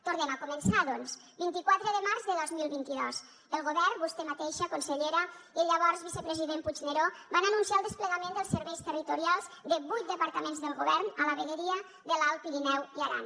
tornem a començar doncs vint quatre de març de dos mil vint dos el govern vostè mateixa consellera i el llavors vicepresident puigneró van anunciar el desplegament dels serveis territorials de vuit departaments del govern a la vegueria de l’alt pirineu i aran